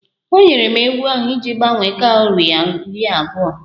O nyere m ewu ahụ iji gbanwere kọwri iri abụọ